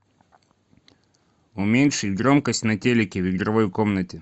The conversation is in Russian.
уменьшить громкость на телике в игровой комнате